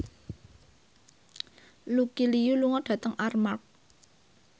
Lucy Liu lunga dhateng Armargh